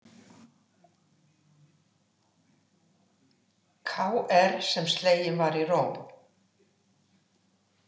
Kr, sem sleginn var í Róm.